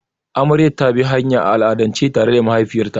Amarya ta bi hanya, a al'adance tare da mahaifiyarta.